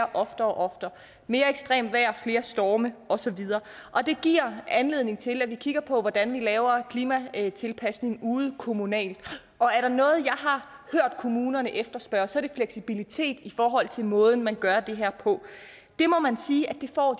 og oftere mere ekstremt vejr flere storme og så videre det giver anledning til at vi kigger på hvordan vi laver klimatilpasningen ude kommunalt og er der noget jeg har hørt kommunerne efterspørge så er det fleksibilitet i forhold til måden man gør det her på det må man sige at de får